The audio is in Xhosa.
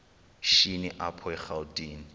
shini apho erawutini